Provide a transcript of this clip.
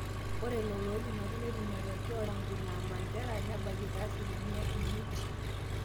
ore lelo ooipimaki netum matokeo nepaasha enaa county naa mandera nabayie te asilimia imiet